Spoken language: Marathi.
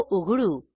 तो उघडू